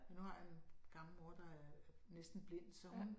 Men nu har jeg en gammel mor der er næsten blind så hun